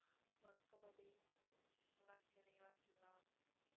வணக்கம் மதி நல்லாருக்கேன், நீங்க நல்லாருக்கீங்களா